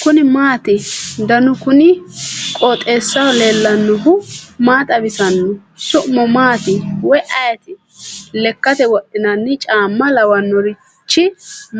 kuni maati ? danu kuni qooxeessaho leellannohu maa xawisanno su'mu maati woy ayeti ? lekkate wodhinanni caamma lawannorichi